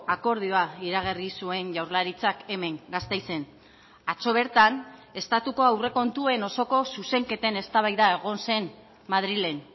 akordioa iragarri zuen jaurlaritzak hemen gasteizen atzo bertan estatuko aurrekontuen osoko zuzenketen eztabaida egon zen madrilen